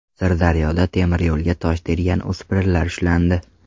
Sirdaryoda temiryo‘lga tosh tergan o‘spirinlar ushlandi.